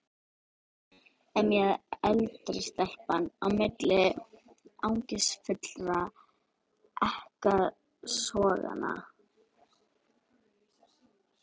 emjaði eldri stelpan á milli angistarfullra ekkasoganna.